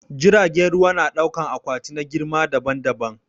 Jiragen ruwa na dauƙan akwati na girma daɓan-daɓan.